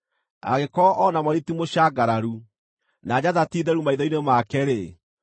Angĩkorwo o na mweri ti mũcangararu, na njata ti theru maitho-inĩ make-rĩ,